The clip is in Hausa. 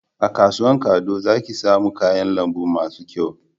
A kasuwan kado za ki samu kayan lambu masu kyau